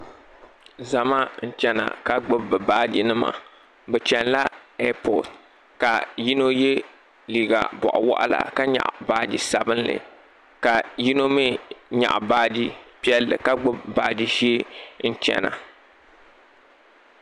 Zama n chana ka gbubi bi baaji nima bi chana la ɛapɔt ka yino yɛ liiga gɔɣu waɣila ka nyaɣi baaji sabinli ka yino mi nyaɣi baaji piɛlli ka gbubi baaji ʒee n chana.